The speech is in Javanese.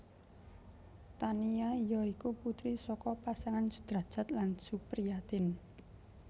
Tania ya iku putri saka pasangan Sudrajat lan Supriatin